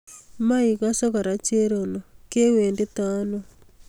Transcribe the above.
Maikose kora cherono kiwetito ano?